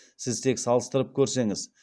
сіз тек салыстырып көрсеңіз